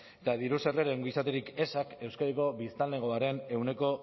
eta diru sarreren ongizaterik ezak euskadiko biztanlegoaren ehuneko